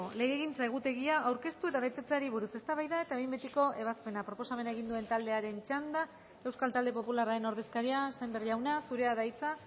legegintza egutegia aurkeztu eta betetzeari buruz eztabaida eta behin betiko ebazpena proposamena egin duen taldearen txanda euskal talde popularraren ordezkaria sémper jauna zurea da hitza